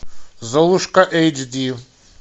золушка эйч ди